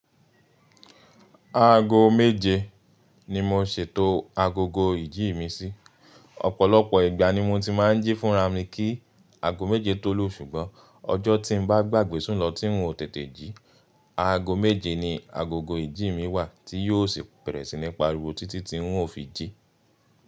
Aago méje ni mo ṣètò agogo ìjí mi sí. Ọ̀pọ̀lọpọ̀ ìgbà ni mo ti máa ń jí fúnra mi kí aago méje tó lù. Ṣùgbọ́n ọjọ́ tí n bá gbàgbé sùn lọ tí n ò tètè jí, aago méje ni agogo ìjí mi wà tí yóò sì bẹ̀rẹ̀ sí ní pariwo títí tí n ò fi jí.